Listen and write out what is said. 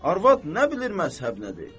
Arvad nə bilir məzhəb nədir?